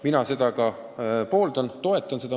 Mina seda mõtet ka toetan.